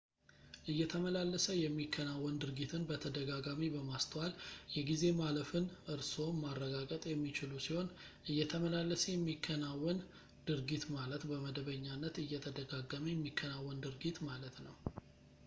እየተመላለሰ የሚከናወን ድርጊትን በተደጋጋሚ በማስተዋል የጊዜ ማለፍን እርስዎም ማረጋገጥ የሚችሉ ሲሆን እየተመላለሰ የሚከናወን ድርጊት ማለት በመደበኛነት እየተደጋገመ የሚከናወን ድርጊት ማለት ነው